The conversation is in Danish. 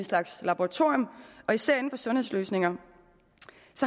slags laboratorium især inden for sundhedsløsninger